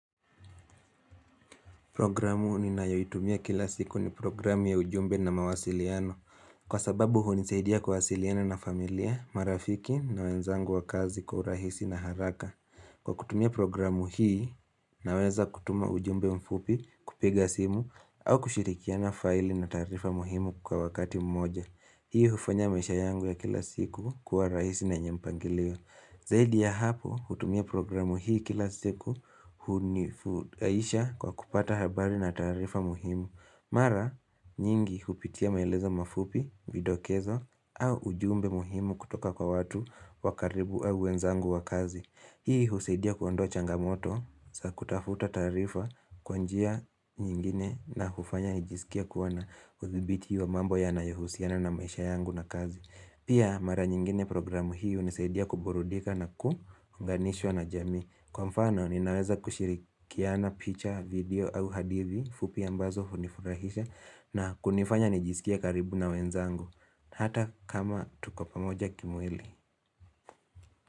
Programu ninayoitumia kila siku ni programu ya ujumbe na mawasiliano. Kwa sababu hunisaidia kuwasiliana na familia, marafiki na wenzangu wa kazi kwa urahisi na haraka. Kwa kutumia programu hii, naweza kutuma ujumbe mfupi kupiga simu au kushirikiana faili na taarifa muhimu kwa wakati mmoja. Hii hufanya maisha yangu ya kila siku kuwa rahisi na yenye mpangilio Zaidi ya hapo hutumia programu hii kila siku hunifuraisha kwa kupata habari na taarifa muhimu. Mara nyingi hupitia maelezo mafupi, vidokezo au ujumbe muhimu kutoka kwa watu wa karibu au wenzangu wa kazi. Hii husaidia kuondoa changamoto za kutafuta taarifa kwa njia nyingine na hufanya nijisikie kuwa na udhibiti wa mambo yanayuhusiana na maisha yangu na kazi. Pia mara nyingine programu hii hunisaidia kuburudika na kuunganishwa na jamii Kwa mfano ninaweza kushirikiana picha video au hadithi fupi ambazo hunifurahisha na kunifanya nijisikie karibu na wenzangu Hata kama tuko pamoja kimwili.